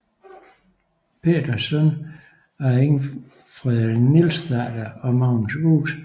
Peder søn af Ingfred Nielsdatter og Magnus Wuet